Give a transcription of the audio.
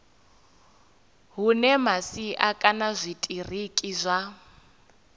hune masia kana zwitiriki zwa